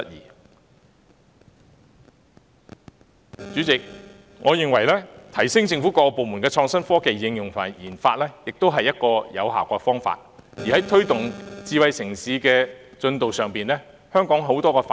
因此，主席，我認為提升政府各個部門的創新科技應用和研發，也是一個有效提高政府辦事效率的方法。